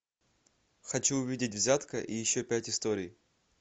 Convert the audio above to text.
хочу увидеть взятка и еще пять историй